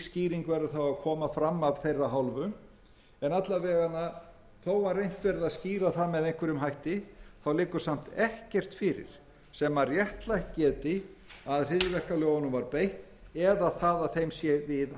skýring verður þá að koma fram af þeirra hálfu en alla vega þó að reynt verði að skýra það með einhverjum hætti liggur samt ekkert fyrir sem réttlætt geti að hryðjuverkalögunum var beitt eða það að þeim sé